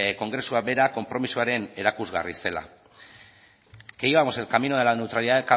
kongresua bera konpromisuaren erakusgarri zela que íbamos en el camino de la neutralidad